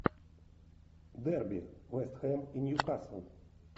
дерби вест хэм и ньюкасл